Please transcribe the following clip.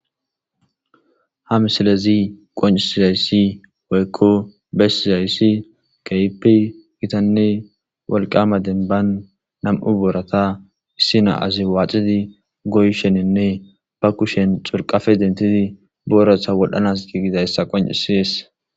ha msilezi qoncisizayssi woykko bessizayssi keypi gitanne wolqama denban nam7u boorata issina7azi waaxidi goyshenenne ba kushen xurqafe dentidi booratha wodhanas giigidayssa qoncisies